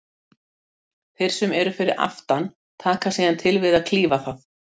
Þeir sem eru fyrir aftan taka síðan til við að klífa það.